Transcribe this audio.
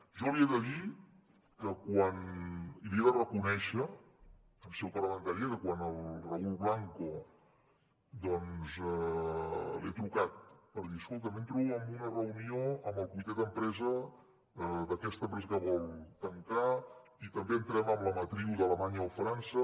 jo li he de dir i li he de reconèixer en seu parlamentària que quan al raül blanco doncs li he trucat per dir escolta entro en una reunió amb el comitè d’empresa d’aquesta empresa que vol tancar i també entrem en la matriu d’alemanya o frança